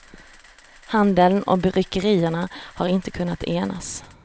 Handeln och bryggerierna har inte kunnat enas.